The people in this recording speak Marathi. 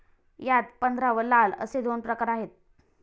यात पंधरा व लाल असे दोन प्रकार आहेत.